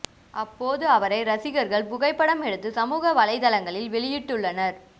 அப்போது அவரை ரசிகர்கள் புகைப்படம் எடுத்து சமூக வலைதளங்களில் வெளியிட்டு ள்ளனர்